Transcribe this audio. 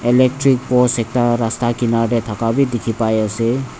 electronic post ekta rasta kenar de bi daka dekhi bai ase.